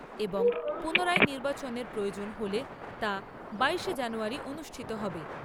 এবং পুনরায় নির্বাচনের প্রয়োজন হলে তা বাইশে জানুয়ারী অনুষ্ঠিত হবে।